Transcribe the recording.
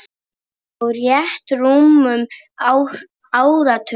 Á rétt rúmum áratug.